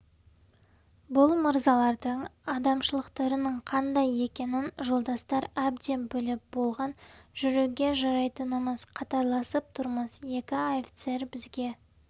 бұл мырзалардың адамшылықтарының қандай екенін жолдастар әбден біліп болған жүруге жарайтынымыз қатарласып тұрмыз екі офицер бізге